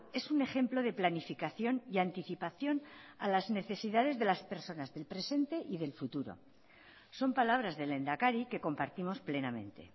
es un ejemplo de planificación y anticipación a las necesidades de las personas del presente y del futuro son palabras del lehendakari que compartimos plenamente